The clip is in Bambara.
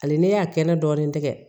Hali ne y'a kɛnɛ dɔɔni tigɛ